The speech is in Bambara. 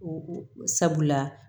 Sabula